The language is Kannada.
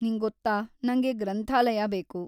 ನಿಂಗೊತ್ತಾ, ನಂಗೆ ಗ್ರಂಥಾಲಯ ಬೇಕು.